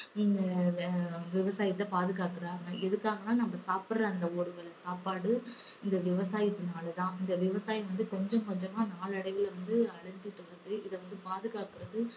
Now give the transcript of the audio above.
ஹம் ஆஹ் விவசாயத்தை பாதுகாக்கறாங்க. எதுக்காகனா நம்ம சாப்பிடற அந்த ஒரு வேலை சாப்பாடு இந்த விவசாயத்துனால தான். இந்த விவசாயம் வந்து கொஞ்சம் கொஞ்சமா நாளடைவுல வந்து அழிஞ்சுகிட்டு வருது. இத வந்து பாதுகாக்குறது